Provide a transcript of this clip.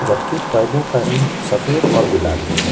जबकि पर्दों का रंग सफेद और गुलाबी है।